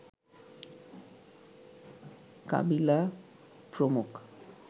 কাবিলা প্রমুখ